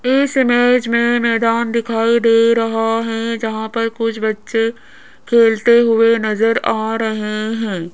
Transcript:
इस इमेज में मैदान दिखाई दे रहा है जहां पर कुछ बच्चे खेलते हुए नजर आ रहे हैं।